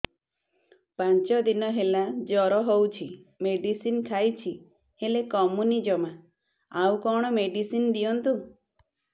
ପାଞ୍ଚ ଦିନ ହେଲା ଜର ହଉଛି ମେଡିସିନ ଖାଇଛି ହେଲେ କମୁନି ଜମା ଆଉ କଣ ମେଡ଼ିସିନ ଦିଅନ୍ତୁ